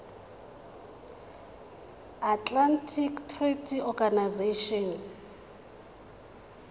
atlantic treaty organization